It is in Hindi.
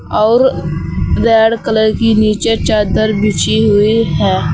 और रेड कलर की नीचे चादर बिछी हुई है।